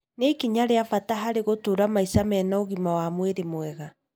nĩ ikinya rĩa bata harĩ gũtũũra maica mena ũgima wa mwĩrĩ mwega.